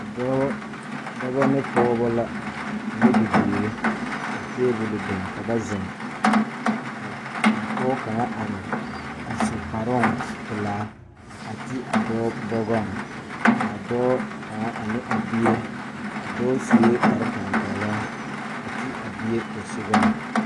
Dɔɔ dɔbɔ ne pɔgebɔ la ane bibiire ka tabole biŋ ka ba zeŋ ka a pɔɔ kaŋa are a su kparoŋ pelaa a ti a dɔɔ bɔgɔŋ kaa dɔɔ kaŋa ane a bie a dɔɔ suee kparetapɛloŋ a ti a bie posugɔŋ.